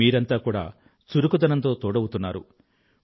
మీరంతా కూడా చురుకుదనంతో తోడవుతున్నారు